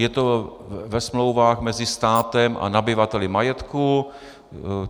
Je to ve smlouvách mezi státem a nabyvateli majetku.